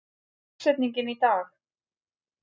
Natan, hver er dagsetningin í dag?